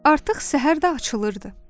Artıq səhər də açılırdı.